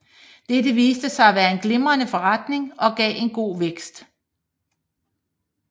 Dette viste sig at være en glimrende forretning og gav en god vækst